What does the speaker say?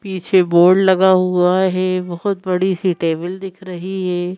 पीछे बोर्ड लगा हुआ है बहोत बड़ी सी टेबल दिख रही है।